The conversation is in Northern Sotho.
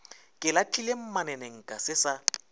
ke lahlile mmanenka se sa